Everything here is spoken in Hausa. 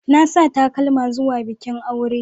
Na sa takalma zuwa bikin aure.